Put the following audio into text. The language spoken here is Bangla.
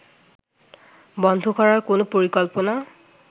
বন্ধ করার কোন পরিকল্পনা